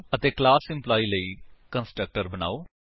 ਅਤੇ class employee ਲਈ constructor ਬਨਾਓ